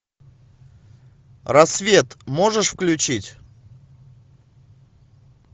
рассвет можешь включить